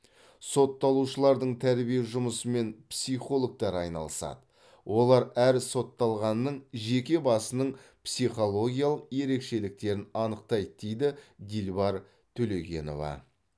сотталушылардың тәрбие жұмысымен психологтар айналысады олар әр сотталғанның жеке басының психологиялық ерекшеліктерін анықтайды дейді дилбар төлегенова